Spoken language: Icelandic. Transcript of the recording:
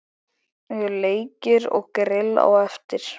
Leikir og grill á eftir.